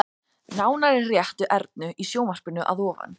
Nánar er rætt við Ernu í sjónvarpinu að ofan.